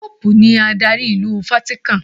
Póòpù ni adarí ìlú Fátíkán.